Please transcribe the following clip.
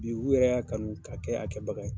Bi u yɛrɛ y'a kanu, ka kɛ, a kɛ baga ye.